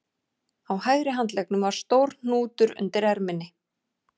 Á hægri handleggnum var stór hnútur undir erminni